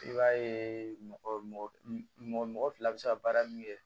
I b'a ye mɔgɔ mɔgɔ fila bɛ se ka baara min kɛ